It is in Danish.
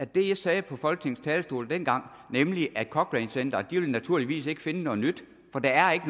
det jeg sagde på folketingets talerstol dengang nemlig at cochrane centeret naturligvis ikke vil finde noget nyt for der er ikke